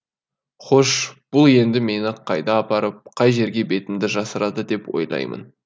хош бұл енді мені қайда апарып қай жерге бетімді жасырады деп ойлаймын